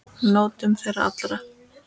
Njótum þeirra allra.